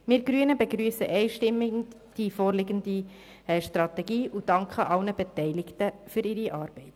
Wir Grünen begrüssen die vorliegende Strategie einstimmig und danken allen Beteiligten für ihre Arbeit.